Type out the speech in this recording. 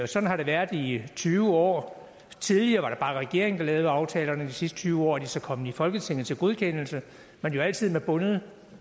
sådan har det været i tyve år tidligere var det bare regeringen der lavede aftalerne sidste tyve år er de så kommet i folketinget til godkendelse men jo altid med bundet